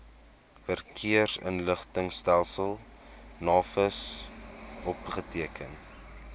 verkeersinligtingstelsel navis opgeteken